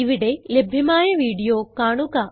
ഇവിടെ ലഭ്യമായ വീഡിയോ കാണുക